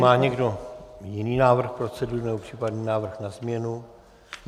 Má někdo jiný návrh procedury, nebo případný návrh na změnu?